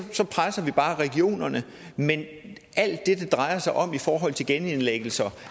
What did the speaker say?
presser vi bare regionerne men alt det det drejer sig om i forhold til genindlæggelser